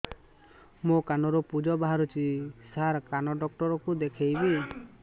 ମୋ କାନରୁ ପୁଜ ବାହାରୁଛି ସାର କାନ ଡକ୍ଟର କୁ ଦେଖାଇବି